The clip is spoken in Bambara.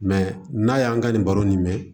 Mɛ n'a y'an ka nin baro in mɛn